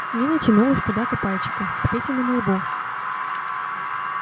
нина тянулась куда-то пальчиком к петиному лбу